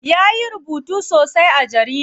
Ya yi rubutu sosai a jarida.